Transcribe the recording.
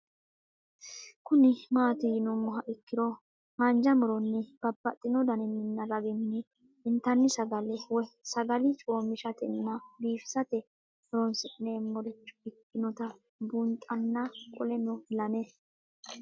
Kuni mati yinumoha ikiro hanja muroni babaxino daninina ragini intani sagale woyi sagali comishatenna bifisate horonsine'morich ikinota bunxana qoleno lame